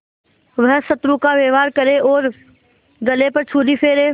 वह शत्रु का व्यवहार करे और गले पर छुरी फेरे